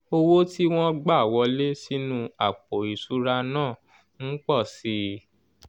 owó tí wọ́n gbà wọlé sínú àpò ìṣura náà n po si i i